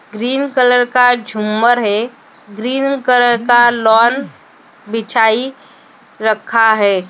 Green colour का झुंमर है ग्रीन कलर का लॉन बिछाई रखा है।